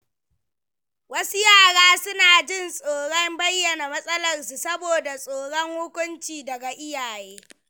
Wasu yara suna jin tsoron bayyana matsalarsu saboda tsoron hukunci daga iyaye.